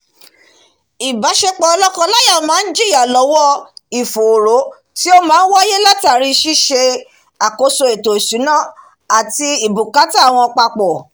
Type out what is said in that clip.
ìbásepọ̀ lọ́kọ láya máá jiyà lọ́wọ́ ìfòró tí ó máá wáyé látàri síse àkóso ètò ìsúná àti bùkátà wọn papọ̀